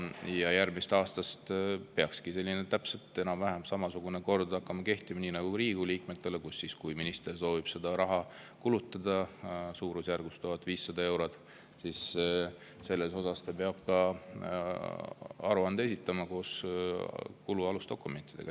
Ja järgmisest aastast peakski siis enam-vähem samasugune kord nagu Riigikogu liikmetel hakkama kehtima ka: kui minister soovib seda raha suurusjärgus 1500 eurot kulutada, siis peab ta esitama selle kohta aruande koos kulu alusdokumentidega.